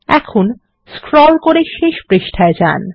এখন স্ক্রল করে শেষ পৃষ্ঠায় যান